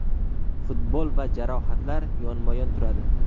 Futbol va jarohatlar yonma-yon turadi.